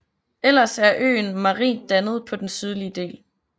Ellers er øen marint dannet på den sydlige del